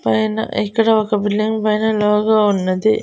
పైన ఇక్కడ ఒక బిల్డింగ్ పైన లోగో ఉన్నది.